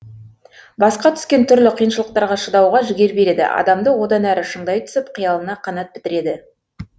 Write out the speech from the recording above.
басқа түскен түрлі қиыншылықтарға шыдауға жігер береді адамды одан әрі шыңдай түсіп қиялына қанат бітіреді